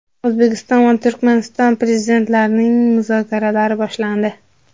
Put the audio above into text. O‘zbekiston va Turkmaniston Prezidentlarining muzokaralari boshlandi.